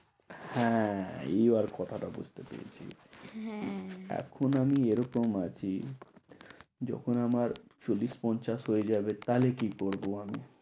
হ্যাঁ, এইবার কথা টা বুঝতে পেরেছি রে, হ্যাঁ এখন আমি এরকম আছি যখন আমার চল্লিশ পঞ্চাশ হয়ে যাবে তাহলে কি করব আমি।